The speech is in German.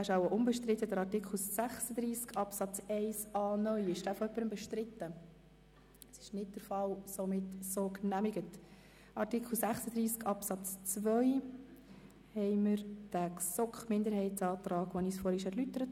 Wir haben einen Antrag von Regierungsrat und GSoK-Mehrheit gegen den Antrag der GSoK-Minderheit/Beutler.